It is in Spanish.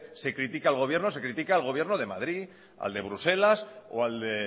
se critica al gobierno se critica al gobierno de madrid al de bruselas o al de